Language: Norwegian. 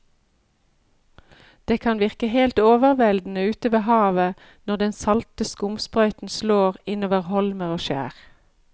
Det kan virke helt overveldende ute ved havet når den salte skumsprøyten slår innover holmer og skjær.